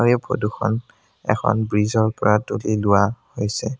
এই ফটো খন এখন ব্ৰীজ ৰ পৰা তুলি লোৱা হৈছে।